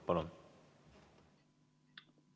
Palun!